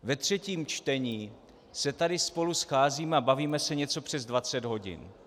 Ve třetím čtení se tady spolu scházíme a bavíme se něco přes 20 hodin.